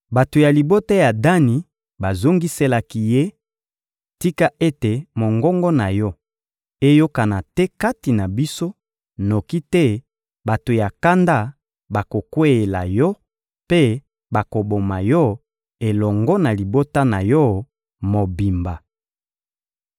Bato ya libota ya Dani bazongiselaki ye: — Tika ete mongongo na yo eyokana te kati na biso, noki te bato ya kanda bakokweyela yo mpe bakoboma yo elongo na libota na yo mobimba.